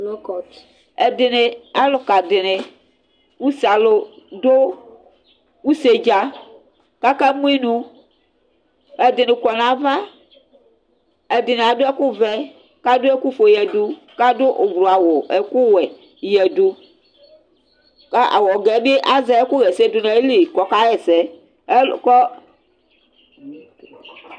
Alʋka dini ʋsealʋ dʋ usedza kʋ akamʋ inʋ Ɛdini kɔnʋ ava, ɛdini adʋ ɛkʋvɛ, kʋ adʋ ɛkʋfue yadʋ kʋ adʋ ʋblʋ awʋ, ɛkʋwɛ yadʋ kʋ awʋ Kʋ awɛgɛbi azɛ ɛkʋxɛsɛ dʋnʋ ayili kʋ ɔkaxɛsɛ